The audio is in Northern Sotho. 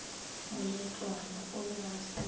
moletlwana o be a se